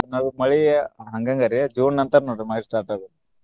ಮಳಿ ಹಂಗ ಹಂಗ ರಿ June ನಂತರ ನೋಡ್ರಿ ಮಳಿ start ಆಗೋದ್.